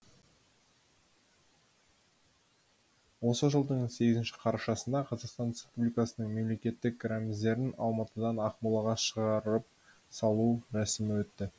осы жылдың сегізінші қарашасында қазақстан республикасының мемлекеттік рәміздерін алматыдан ақмолаға шығарып салу рәсімі өтті